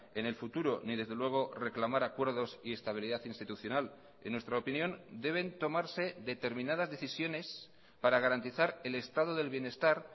en el futuro ni desde luego reclamar acuerdos y estabilidad institucional en nuestra opinión deben tomarse determinadas decisiones para garantizar el estado del bienestar